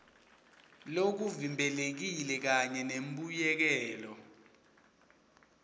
lokuvimbelekile kanye nembuyekelo